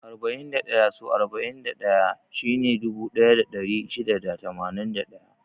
Arba'in da ɗaya so arba'in da ɗaya shine dubu ɗaya da ɗari shida da tamanin da ɗaya.